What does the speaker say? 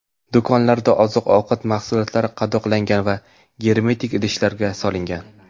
Do‘konlarda oziq-ovqat mahsulotlari qadoqlangan va germetik idishlarga solingan.